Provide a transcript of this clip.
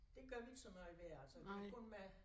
Det gør vi ikke så meget mere altså det kun mig